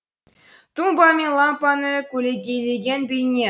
тумба мен лампаны көлегейлеген бейне